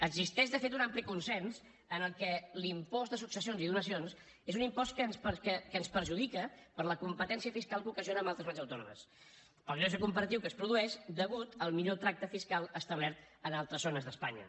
existeix de fet un ampli consens en què l’impost de successions i donacions és un impost que ens perjudica per la competència fiscal que ocasiona amb altres comunitats autònomes per al greuge comparatiu que es produeix a causa del millor tracte fiscal establert en altres zones d’espanya